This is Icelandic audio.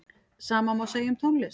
Sama má segja um tónlist.